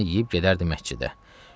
Naharını yeyib gedərdi məscidə.